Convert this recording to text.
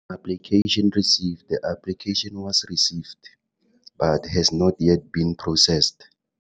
Application received. The application was received, but has not yet been processed.